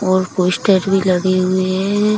और पोस्टर भी लगे हुए हैं।